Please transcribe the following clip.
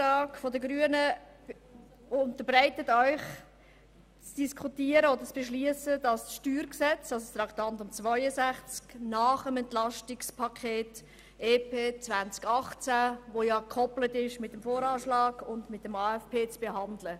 Er unterbreitet Ihnen zu beschliessen, das Traktandum 62, also das Steuergesetz (StG), nach dem EP 2018, welches ja mit dem VA und dem AFP gekoppelt ist, zu behandeln.